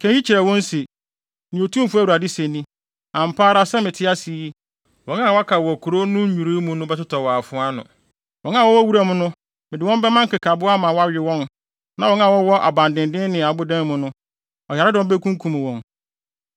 “Ka eyi kyerɛ wɔn se, ‘Nea Otumfo Awurade se ni: Ampa ara sɛ mete ase yi, wɔn a wɔaka wɔ kurow no nnwiriwii mu no bɛtotɔ wɔ afoa ano. Wɔn a wɔwɔ wuram no mede wɔn bɛma nkekaboa ama wɔawe wɔn na wɔn a wɔwɔ abandennen ne abodan mu no, ɔyaredɔm bekunkum wɔn.